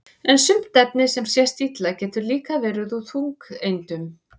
en sumt efni sem sést illa getur líka verið úr þungeindum